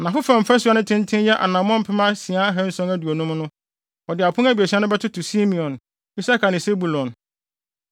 Anafo fam fasu a ne tenten yɛ anammɔn mpem asia ahanson aduonum (6,750) no, wɔde apon abiɛsa no bɛtoto Simeon, Isakar ne Sebulon.